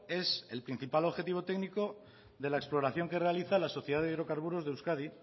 es el principal objetivo técnico de la exploración que realiza la sociedad de hidrocarburos de euskadi